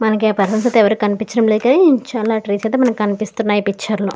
మనకు పర్సన్స్ అయితే ఎవరు కనిపించటం లేదు చాలా ట్రీస్ అయితే కనిపిస్తున్నాయ్ మనకి ఈ పిక్చర్ లో.